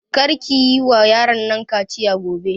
Kar ki yi wa yaron nan kaciya gobe!